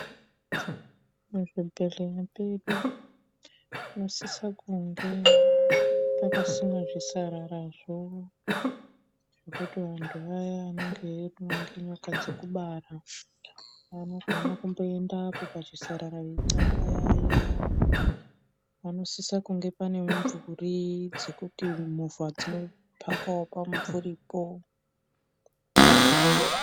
Pazvibhehleya pedu panosisa kunge pakasimwa zvisararazvo zvekuti vantu vaya vanenge eirumwa ngenyoka dzekubara anogona kumboendapo pachisarara veixambayaya. Panosisa kunge pane mumvuri dzekuti movha dzinopakawo pamumvuripo.